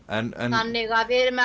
þannig að við erum með